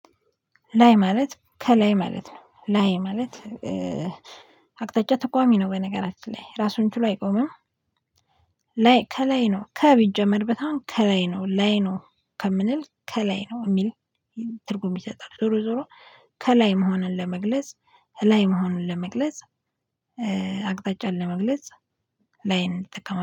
ላይ ማለት ከላይ ማለት ነው ላይ ማለት አቅጣጫ ተቋሚ ነው በነገራችን ላይ ራሱን ችሎ አይቆምም። ላይ ከላይ ነው ከ ቢጀመርበት አሁን ከላይ ነው ላይ ነው ከምንል ከላይ ነው የሚል ትርጉም ይሰጣል። ዞሮ ዞሮ ከላይ መሆንን ለመግለጽ ላይ መሆንን ለመግለጽ አቅጣጫን ለመግለጽ ላይን እንጠቀማለን